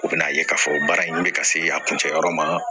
U bɛn'a ye k'a fɔ baara in bɛ ka se a kun cɛ yɔrɔ ma